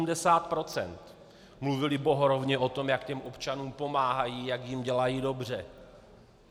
Mluvili bohorovně o tom, jak těm občanům pomáhají, jak jim dělají dobře.